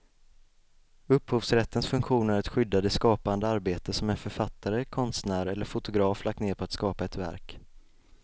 Upphovsrättens funktion är att skydda det skapande arbete som en författare, konstnär eller fotograf lagt ned på att skapa ett verk.